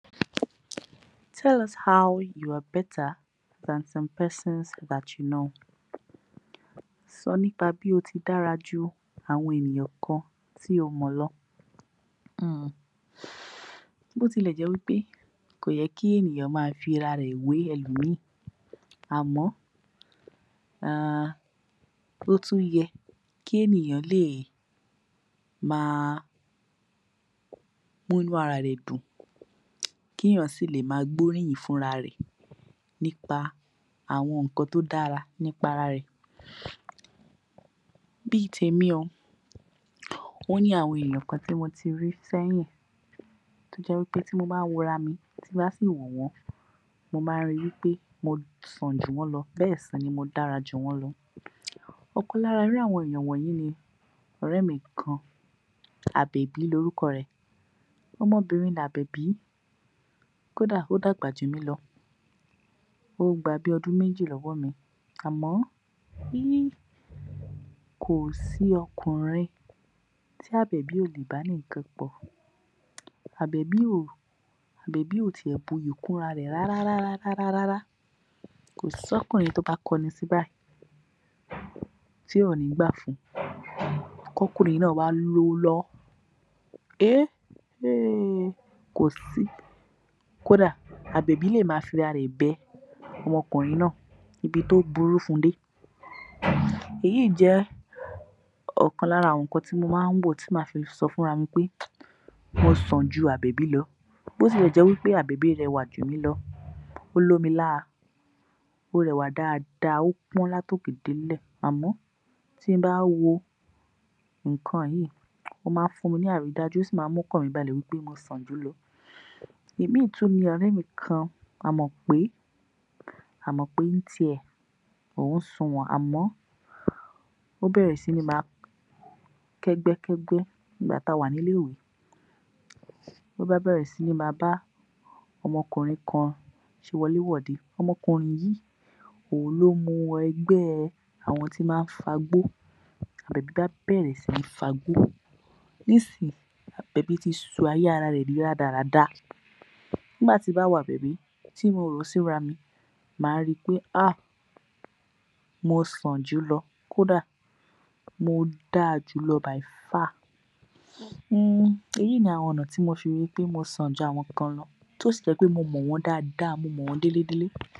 Tell us how you are better than some persons that you know.. Sọ nípa bí o ti dára ju àwọn ènìyàn kan tí o mọ̀ lọ. hmm Bó ti lẹ̀ jẹ́ wí pé kò yẹ kí ènìyàn maa fi ’rarẹ̀ wé ẹlọ̀míì, àmọ́ ehhh ó tún yẹ kí ènìyàn lè máa múnú ara rẹ̀ dun, k’éèyàn sì lè máa gbóríyìn fún ‘rarẹ̀ nípa àwọn nǹkan tó dára nípa ara rẹ̀. Bí i tèmi o, ó ní àwọn èèyàn kan tí mo ti rí sẹ́yìn tó jẹ́ wí pẹ́ tí mo bá wora mi tí m bá sì wò wọ́n, mo má ń rí i pé mo sàn jù wọ́n lọ, bẹ́ẹ̀ sì ni mo dára jù wọ́n lọ. Ọ̀kan lára irú àwọn èèyàn wọnyìí ni ọ̀rẹ́ mi kan Àbẹ̀bí l’orúkọ rẹ̀. Ọmọbìnrin l’Àbẹ̀bí, kódà ó dàgbà jù mí lọ, ó gba bíi ọdún méjì lọ́wọ́ mi. Àmọ́, hee kò sí ọkùnrin tí Àbẹ̀bí ò lè bá ní nǹkan pọ̀. Àbẹ̀bí ò tiẹ̀, buyì kúnra rẹ̀ rárárárárá Kò s’ọ́kùnrin tó bá kọnu sí i bayìí tí ò ní gbà fún, k’ọ́kùnrin náà wá lówó lọ́wọ́. Ehhh kò sí, kódà Àbèbí lè máa fi ’rarẹ̀ bẹ ọmọkùnrin náà níbi tó burú fún un dé. Èyí jẹ́ ọ̀kan lára nǹkan ti mo má ń wò tí màá fi sọ fúnra mi pé mo sàn ju Àbẹ̀bí lọ. Bó ti lẹ̀ jẹ́ wí pẹ́ Àbèbí rẹwà jù mí lọ, ó lómi láa, ó rẹwà dáadáa, ó pọ́n l’átòkè délẹ̀. àmọ́ tí n bá wo nǹkan yìí, ó má ń fúnmi ní àrídájú, ó sì má ń m’ọ́kàn mi balẹ̀ wí pe mo sàn jù ú lọ. Ìmíì tún ni ọ̀rẹ́ mi kan, Àmọ̀pé. Àmọ̀pé ń tiẹ̀, òun suwọ̀n, ó bẹ̀rẹ̀ sí ní máa kẹ́gbẹ́kẹ́gbẹ́. Nígbà tí a wà ní ilé-ìwé, ló bá bẹ̀rẹ̀ sí ní máa bá ọmọ ọkùnrin kan ṣe wọlé wọ̀de. Okùnrin yìí òun ló mú un wọ ẹgbẹ́ àwọn tí má ń fagbó, l’Àbẹ̀bí bá bẹ̀rẹ̀ síní fagbọ́. Ní ìsinyìí Àbẹ̀bí ti sọ ayé ara rẹ̀ di rádaràda. Nígbà tí m bá wo Àbẹ̀bí, tí mo wò ó síra mi, màá rí i pé ahh mo sàn jù ú lo, kódà mo dáa jù ú lọ (by far). Hmm, èyí ni àwọn ọ̀nà tí mo fi ríi pé mo sàn ju àwọn kan lọ, tó sì jẹ́ wí pé mo mọ̀ wọ́n dáadáa, mo mọ̀ wọ́n délé délé.